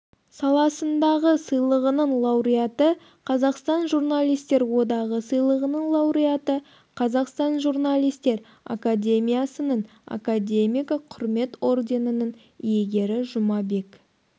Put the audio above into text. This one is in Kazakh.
саласындағы сыйлығының лауреаты қазақстан журналистер одағы сыйлығының лауреаты қазақстан журналистер академиясыныңакадемигі құрмет орденінің иегері жұмабек